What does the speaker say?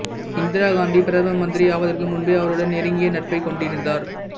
இந்திரா காந்தி பிரதம மந்திரி ஆவதற்கு முன்பே அவருடன் நெருங்கிய நட்பைக் கொண்டிருந்தார்